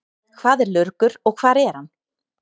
Hvað er lurgur og hvar er hann?